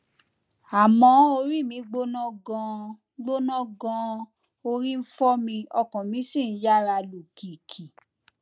àmọ orí mi gbóná ganan gbóná ganan orí ń fọ mi ọkàn mi sì ń yára lù kìkì